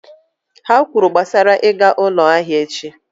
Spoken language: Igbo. Ha kwuru gbasara ịga ụlọ ahịa echi